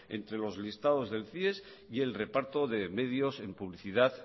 entre los listados del cies y el reparto de publicidad